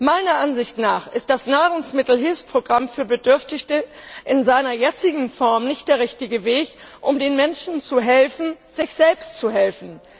Meiner Ansicht nach ist das Nahrungsmittelhilfsprogramm für Bedürftige in seiner jetzigen Form nicht der richtige Weg, um den Menschen zu helfen, sich selbst zu helfen.